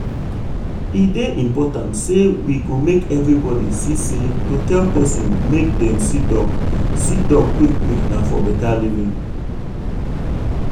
e dey important say we go make everybody see say to tell person make dem see doc see doc quick quick na for beta living.